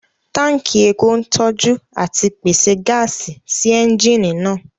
Tánkì epo ń tọ́jú àti pèsè gáàsì sí ẹ́ńjìnì náà